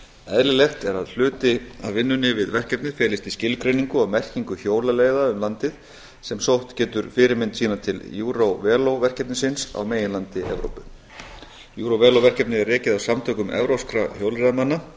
eðlilegt er að hluti af vinnunni við verkefnið felist í skilgreiningu og merkingu hjólaleiða um landið sem sótt getur fyrirmynd sína til eurovelo verkefnisins á meginlandi evrópu eurovelo verkefnið er rekið af samtökum evrópskra hjólreiðamanna